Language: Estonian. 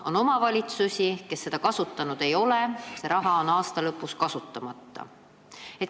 On omavalitsusi, kes seda kasutanud ei ole, see raha on aasta lõpu seisuga kasutamata.